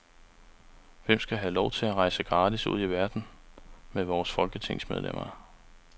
Hvem skal have lov til at rejse gratis ud i verden med vores folketingsmedlemmer.